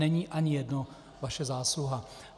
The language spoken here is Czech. Není ani jedno vaše zásluha.